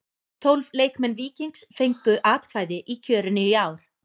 Tólf leikmenn Víkings fengu atkvæði í kjörinu í ár.